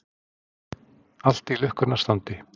Allt í lukkunnar standi.